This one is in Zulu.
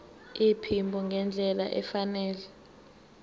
iphimbo ngendlela efanele